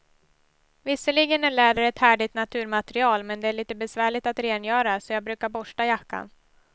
Visserligen är läder ett härligt naturmaterial, men det är lite besvärligt att rengöra, så jag brukar borsta jackan.